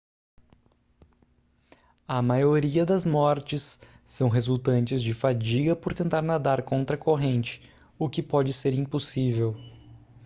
a maioria das mortes são resultantes de fadiga por tentar nadar contra a corrente o que pode ser impossível